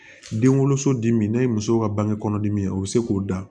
Den woloso dimi n'a ye muso ka bange kɔnɔdimi ye o bɛ se k'o dan